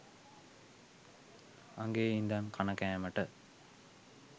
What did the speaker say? අගේ ඉදන් කණ කෑමට